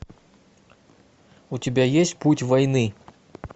у тебя есть путь войны